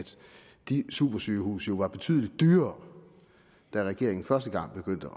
de supersygehuse jo var betydelig dyrere da regeringen første gang begyndte